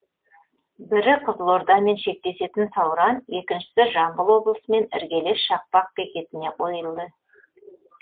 бірі қызылордамен шектесетін сауран екіншісі жамбыл облысымен іргелес шақпақ бекетіне қойылды